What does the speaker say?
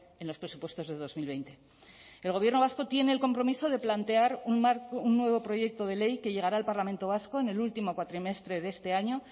en los presupuestos de dos mil veinte el gobierno vasco tiene el compromiso de plantear un nuevo proyecto de ley que llegará al parlamento vasco en el último cuatrimestre de este año